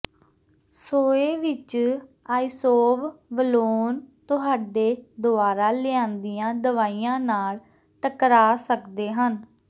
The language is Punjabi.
ਸੋਏ ਵਿੱਚ ਆਈਸੋਵਵਲੋਨ ਤੁਹਾਡੇ ਦੁਆਰਾ ਲਿਆਂਦੀਆਂ ਦਵਾਈਆਂ ਨਾਲ ਟਕਰਾ ਸਕਦੇ ਹਨ